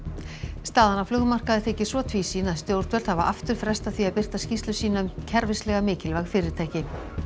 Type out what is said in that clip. staðan á þykir svo tvísýn að stjórnvöld hafa aftur frestað því að birta skýrslu sína um kerfislega mikilvæg fyrirtæki